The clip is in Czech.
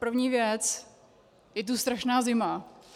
První věc: Je tu strašná zima.